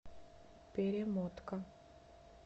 перемотка